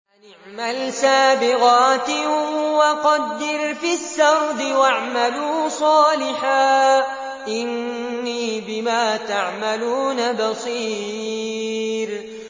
أَنِ اعْمَلْ سَابِغَاتٍ وَقَدِّرْ فِي السَّرْدِ ۖ وَاعْمَلُوا صَالِحًا ۖ إِنِّي بِمَا تَعْمَلُونَ بَصِيرٌ